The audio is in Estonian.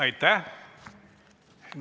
Aitäh!